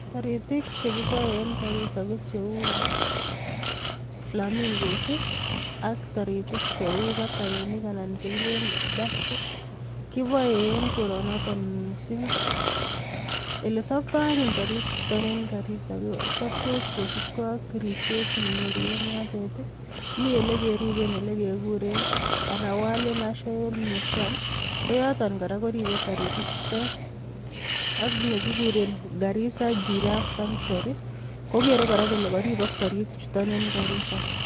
Toritik chekiboe en Garisa ko cheu flamingos ak toritik cheuu batainik anan chekileen ducks kiboee en koronotok mising elesobtoo anyun toritichuton en Garisa kosobtos kosibkee ak ribset nenyoru en yotet i, mielekeriben elekekuren Arawoli Nation